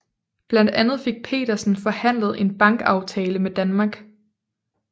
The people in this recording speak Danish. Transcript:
Blandt andet fik Petersen forhandlet en bankavtale med Danmark